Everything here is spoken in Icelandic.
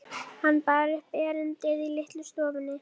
Hann bar upp erindið í litlu stofunni.